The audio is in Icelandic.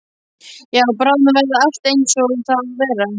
Já, bráðum verður allt einsog það á að vera.